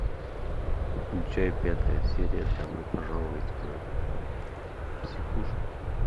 включай пятая серия добро пожаловать в психушку